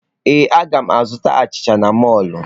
Ee, a ga m azụta achịcha n'mọlụ.